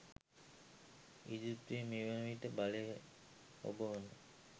ඊජිප්තුවේ මේ වන විට බලය හොබවන